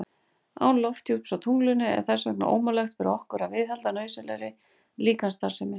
Án lofthjúps á tunglinu er þess vegna ómögulegt fyrir okkur að viðhalda nauðsynlegri líkamsstarfsemi.